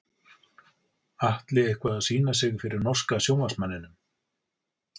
Atli eitthvað að sýna sig fyrir norska sjónvarpsmanninum?